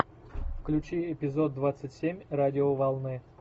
включи эпизод двадцать семь радиоволны